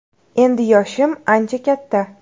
Endi yoshim ancha katta.